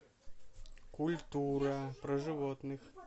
культура про животных